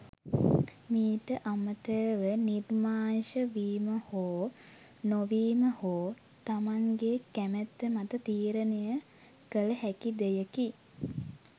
මීට අමතරව නිර්මාංශ වීම හෝ නොවීම හෝ තමන්ගේ කැමැත්ත මත තීරණය කළ හැකි දෙයකි.